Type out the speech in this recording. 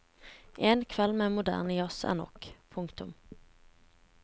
En kveld med moderne jazz er nok. punktum